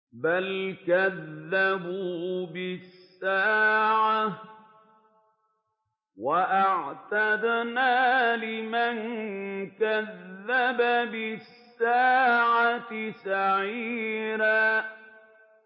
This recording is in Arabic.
بَلْ كَذَّبُوا بِالسَّاعَةِ ۖ وَأَعْتَدْنَا لِمَن كَذَّبَ بِالسَّاعَةِ سَعِيرًا